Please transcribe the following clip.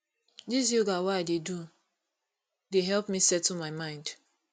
dis yoga wey i dey do dey help me settle my mind